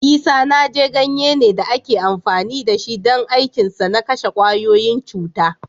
Isanaje ganye ne da ake amfani da shi don aikinsa na kashe kwayoyin cuta.